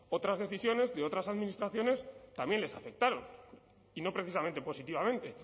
otras decisiones de otras administraciones también les afectaron y no precisamente positivamente